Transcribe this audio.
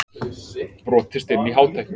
Brotist inn í Hátækni